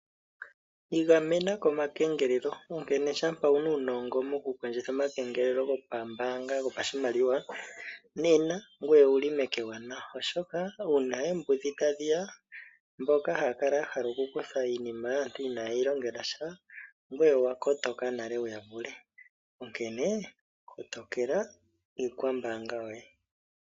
Igamena komakengelelo, onkene shampa wu na uunongo mokukondjitha ngelelo gopambaanga gopashimaliwa nena ngoye owu li meke ewanawa, oshoka uuna oombudhi tadhi ya mboka haya kala ya hala okukutha iinima yaantu inaye yi longela sha ngoye owa kotoka nale wu ya vule, onkene kotokela iikwambaanga yoye.